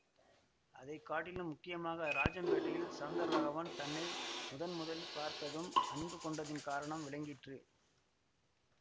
அதை காட்டிலும் முக்கியமாக ராஜம்பேட்டையில் சௌந்தர ராகவன் தன்னை முதன் முதலில் பார்த்ததும் அன்பு கொண்டதின் காரணம் விளங்கிற்று